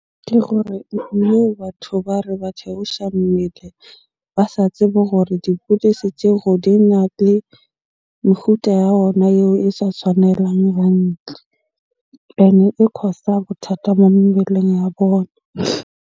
Ke gore batho ba re ba theosha mmele ba sa tsebe hore dipidisi tjego dina le ya ona eo e sa tshwanelang hantle. Ene e cause-a bothata mo mebeleng ya bona.